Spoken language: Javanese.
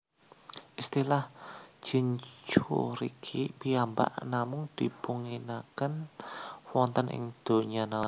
Istilah Jinchuuriki piyambak namung dipunginaken wonten ing donya Naruto